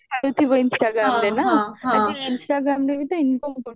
ଛାଡୁଥିବା instagramରେ ନା ହଉଚି instagramରେ ବି ତ income କରୁଥିବା